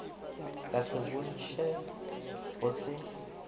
ka se bontšhe go se